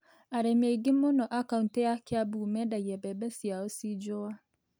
Arĩmi aingĩ mũno a kaunitĩ ya Kĩambu mendagia mbembe ciao cinjũa.